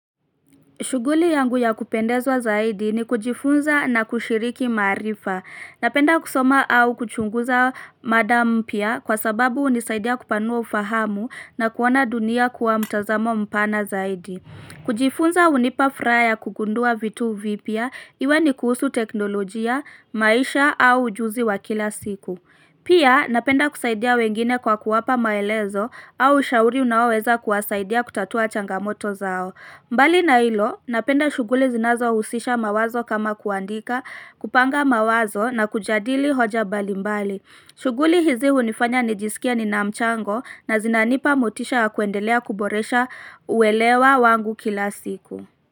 Shughuli yangu ya kupendezwa zaidi ni kujifunza na kushiriki maarifa. Napenda kusoma au kuchunguza mada mpya kwa sababu unisaidia kupanua ufahamu na kuona dunia kwa mtazamo mpana zaidi. Kujifunza hunipa furaha ya kugundua vitu vipya-iwe ni kuhusu teknolojia, maisha au ujuzi wa kila siku. Pia napenda kusaidia wengine kwa kuwapa maelezo, au ushauri unaoweza kuwasaidia kutatua changamoto zao. Mbali na ilo, napenda shuguli zinazo husisha mawazo kama kuandika, kupanga mawazo na kujadili hoja mbali mbali. Shuguli hizi hunifanya nijisikie ni namchango na zinanipa motisha ya kuendelea kuboresha uwelewa wangu kila siku.